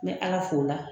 N bɛ ala fo la